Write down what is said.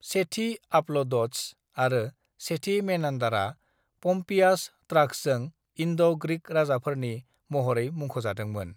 सेथि आपल'ड'टस आरो सेथि मेनान्डारआ पम्पियास ट्र'ग्सजों इन्ड'-ग्रीक राजाफोरनि महरै मुख'जादोंमोन।